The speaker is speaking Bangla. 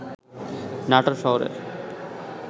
নাটোর শহরের